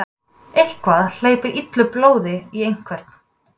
Eitthvað hleypir illu blóði í einhvern